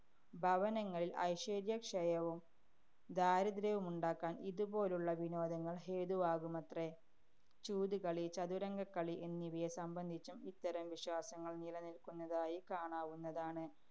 ഭവനങ്ങളില്‍ ഐശ്വര്യക്ഷയവും, ദാരിദ്യ്രവുമുണ്ടാക്കാന്‍ ഇതുപോലുള്ള വിനോദങ്ങള്‍ ഹേതുവാകുമത്രെ. ചൂതുകളി, ചതുരംഗക്കളി എന്നിവയെ സംബന്ധിച്ചും ഇത്തരം വിശ്വാസങ്ങള്‍ നിലനില്ക്കുന്നതായി കാണാവുന്നതാണ്.